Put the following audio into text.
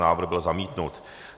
Návrh byl zamítnut.